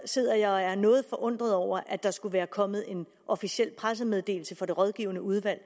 sidder jeg og er noget forundret over at der skulle være kommet en officiel pressemeddelelse fra det rådgivende udvalg